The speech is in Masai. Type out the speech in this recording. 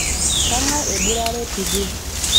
kangae eburare tidie